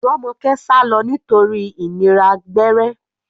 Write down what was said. Romoke sálọ nítorí ìnira gbẹ́rẹ́.